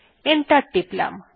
enter টিপলাম